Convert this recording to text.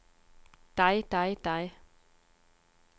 dig dig dig